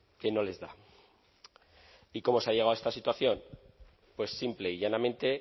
que no les da y cómo se ha llegado a esta situación pues simple y llanamente